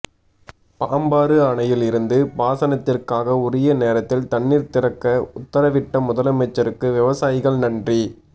பாம்பாறு அணையில் இருந்து பாசனத்திற்காக உரிய நேரத்தில் தண்ணீர் திறக்க உத்தரவிட்ட முதலமைச்சருக்கு விவசாயிகள் நன்றி